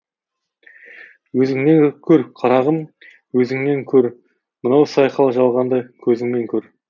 өзіңнен көр қарағым өзіңнен көр мынау сайқал жалғанды көзіңмен көр